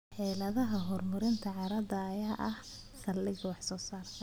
Xeeladaha horumarinta carrada ayaa ah saldhigga wax-soo-saarka.